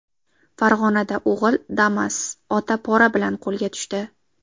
Farg‘onada o‘g‘il Damas, ota pora bilan qo‘lga tushdi.